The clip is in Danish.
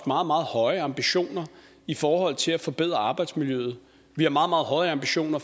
meget meget høje ambitioner i forhold til at forbedre arbejdsmiljøet vi har meget meget høje ambitioner